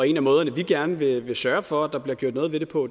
en af måderne vi gerne vil sørge for at der bliver gjort noget ved det på